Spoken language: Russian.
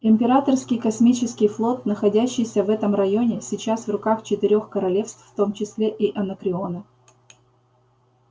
императорский космический флот находящийся в этом районе сейчас в руках четырёх королевств в том числе и анакреона